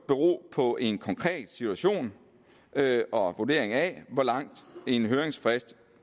bero på en konkret situation og vurdering af hvor lang en høringsfrist